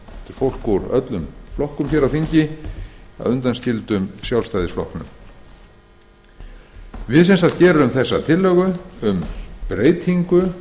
fólk úr öllum flokkum á þingi að undanskildum sjálfstæðisflokknum við leggjum fram tillögu um breytingu